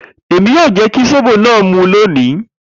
Emi yoo jẹ ki zobo naa mu loni.